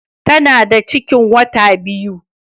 Tana da ciki wata biyu